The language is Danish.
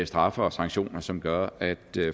straffe og sanktioner som gør at